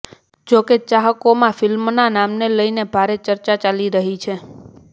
જો કે ચાહકોમાં ફિલ્મના નામને લઇન ભારે ચર્ચા ચાલી રહી છે